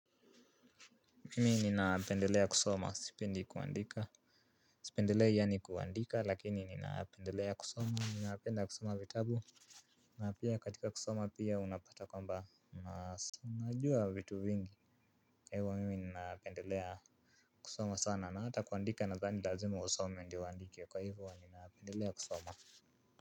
Mimi ninaapendelea kusoma, sipendi kuandika. Sipendelei yaani kuandika lakini ninaapendelea kusoma, ninaapenda kusoma vitabu. Na pia katika kusoma pia unapata kwamba najua vitu vingi. Kwa hivyo mimi ninaapendelea kusoma sana na hata kuandika nadhani lazima usome ndio uandike kwa hivyo ninapendelea kusoma.